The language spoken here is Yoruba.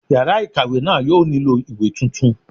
Yàrá ìkàwé náà yóò nílò ìwé tuntun